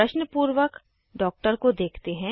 वो प्रश्न पूर्वक डॉक्टर को देखते हैं